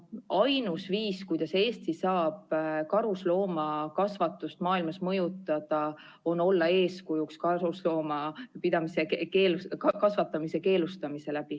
Ainus viis, kuidas Eesti saab karusloomakasvatust maailmas mõjutada, on olla eeskujuks karusloomakasvatamist keelustades.